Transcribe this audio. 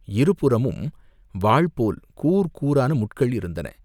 இருபுறமும் வாள் போல் கூர் கூரான முட்கள் இருந்தன.